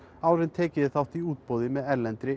áður en tekið yrði þátt í útboði með erlendri